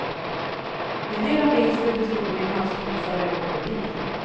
En del av vinsten bestod i en havskryssare och en bil.